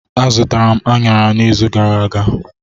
Azụtara m anara n'izu gara aga.